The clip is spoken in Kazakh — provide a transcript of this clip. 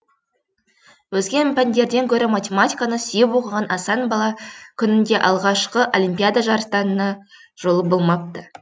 өзге пәндерден гөрі математиканы сүйіп оқыған асан бала күнінде алғашқы олимпиада жарыстарында жолы болмапты